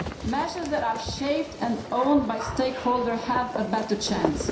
Measures that are shared and owned by stakeholders have a better chance.